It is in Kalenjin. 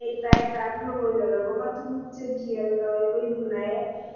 Leitaetab logoiwek agobo tuguk che kialdoi koibu naet